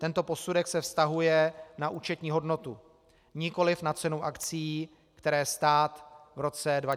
Tento posudek se vztahuje na účetní hodnotu, nikoli na cenu akcií, které stát v roce 2004 prodával.